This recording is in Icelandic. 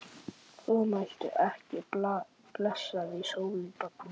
Formæltu ekki blessaðri sólinni, barnið mitt.